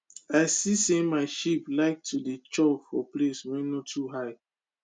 i see say my sheep like to dey chop for place wey no too high